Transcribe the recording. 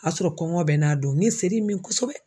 O y'a sɔrɔ kɔngɔ bɛ n n'a don n ye seri in min kosɛbɛ.